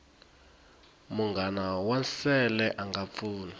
munghana wa nsele anga pfuni